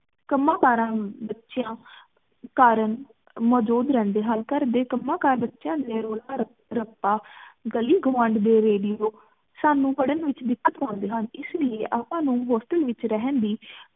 ਕੰਮਾ ਕਾਰਾ ਕਾਰਨ ਮੌਜੂਦ ਰਹਿੰਦੇ ਹਨ ਘਰ ਦੇ ਕੰਮਾ ਕਾਰ, ਬੱਚਿਆਂ ਦੇ ਰੋਲਾ ਰ ਰੱਪਾ, ਗਲੀ ਗਵਾਂਡ ਦੇ ਰੇਡੀਓ ਸਾਨੂ ਪੜਨ ਵਿਚ ਦਿੱਕਤ ਪਾਉਂਦੇ ਹਨ ਇਸ ਲਈ ਆਪਾਂ ਨੂ ਹੋਸਟਲ ਵਿਚ ਰਹਨ ਦੀ